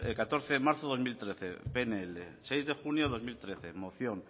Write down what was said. catorce de marzo de dos mil trece pnl seis de junio de dos mil trece moción